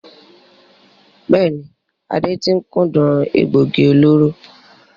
Bẹ́ẹ̀ni, Ade tí ń kúndùn egbògi olóró.